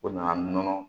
O nana nɔnɔ